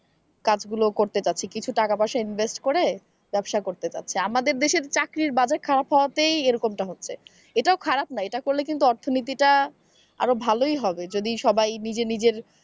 কাজগুলো করতে চাচ্ছে কিছু টাকা পয়সা invest করে ব্যবসা করতে চাচ্ছে আমাদের দেশের চাকরির বাজার খারাপ হওয়াতেই এরকমটা হচ্ছে এটাও খারাপ না এটা করলে কিন্তু অর্থনীতি টা আরো ভালোই হবে যদি সবাই নিজে নিজের,